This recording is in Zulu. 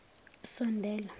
sondela